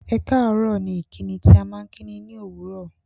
Ẹ̀káàárọ̀ ni ìkíni tí à maa n kíni ní òwúró